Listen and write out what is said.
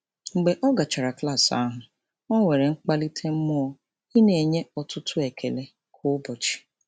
Mgbe ọ gachara klaasị ahụ, o nwere mkpalite mmụọ ị na-enye ọtụtụ ekele kwa ụbọchị.